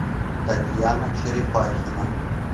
татьяна черепахина